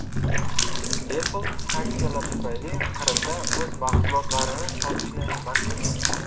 Apple sanksiyalar tufayli Qrimda o‘z mahsulotlarini sotishni man qildi.